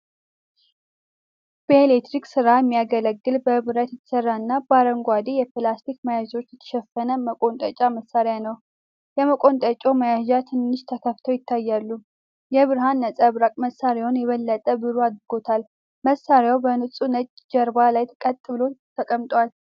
በኤሌክትሪክ ሥራ የሚያገለግል በብረት የተሰራና በአረንጓዴ የፕላስቲክ መያዣዎች የተሸፈነ መቆንጠጫ መሳሪያ ነው። የመቆንጠጫው መያዣዎች ትንሽ ተከፍተው ይታያሉ፤ የብርሃን ነጸብራቅ መሣሪያውን የበለጠ ብሩህ አድርጎታል። መሣሪያው በንጹህ ነጭ ጀርባ ላይ ቀጥ ብሎ ተቀምጧል።